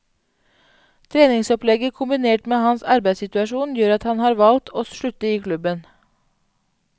Treningsopplegget kombinert med hans arbeidssituasjon gjør at han har valgt å slutte i klubben.